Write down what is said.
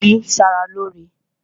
Ìgbín ń ṣa ra lóóre